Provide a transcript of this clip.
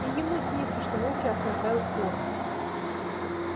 и ему снится что волки осаждают форт